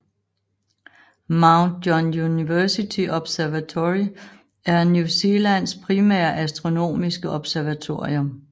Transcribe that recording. Mount John University Observatory er New Zealands primære astronomiske observatorium